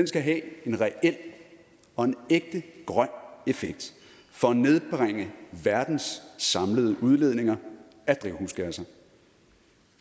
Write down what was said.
skal have en reel og ægte grøn effekt for at nedbringe verdens samlede udledninger af drivhusgasser